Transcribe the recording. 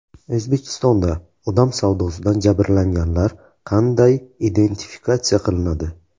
O‘zbekistonda odam savdosidan jabrlanganlar qanday identifikatsiya qilinadi?